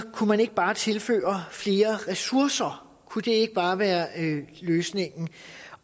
kunne man ikke bare tilføre flere ressourcer kunne det ikke bare være løsningen